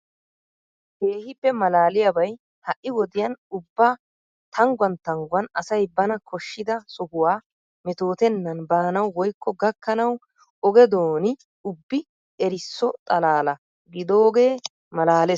Keehippe maalaaliyabay ha"i wodiyan ubba tangguwan tangguwan asay bana koshshida sohuwa metootennan baanawu woykko gakkanawu oge dooni ubbi erisso xalaala gidoogee maalaalees tana.